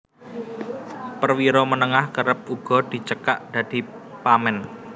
Perwira Menengah kerep uga dicekak dadi Pamen